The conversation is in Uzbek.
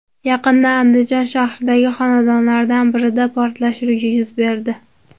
Yaqinda Andijon shahridagi xonadonlardan birida portlash yuz berdi.